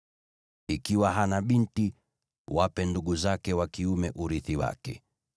Ikiwa hana binti, wape ndugu zake wa kiume urithi wake.